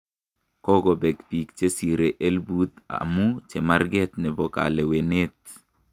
kokobek bik chesire elput amu chemarket nebo kaleweneet